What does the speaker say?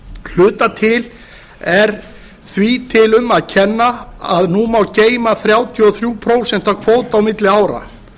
hluta til er því um að kenna að nú má geyma þrjátíu og þrjú prósent af kvóta á milli ára